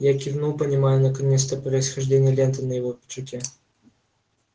я кивнул понимая наконец-то происхождение ленты на его пиджаке